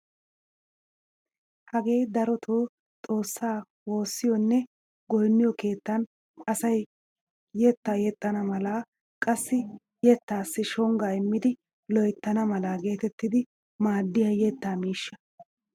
Hagee darotoo xoossaa woossiyoonne goynniyoo keettaan asay yettaa yexxana mala qassi yeettaasi shongaa immidi loyttana mala geetettidi maaddiyaa yettaa miishsha.